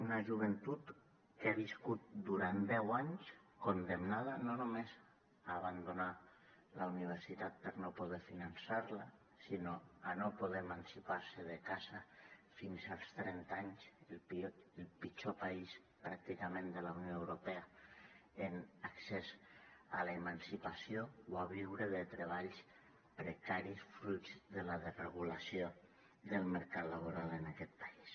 una joventut que ha viscut durant deu anys condemnada no només a abandonar la universitat per no poder finançar la sinó a no poder emancipar se de casa fins als trenta anys el pitjor país pràcticament de la unió europea en accés a l’emancipació o a viure de treballs precaris fruit de la desregulació del mercat laboral en aquest país